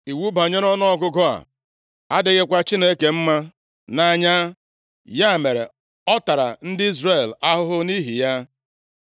Iwu banyere ọnụọgụgụ a adịghịkwa Chineke mma nʼanya. Ya mere, ọ tara ndị Izrel ahụhụ nʼihi ya.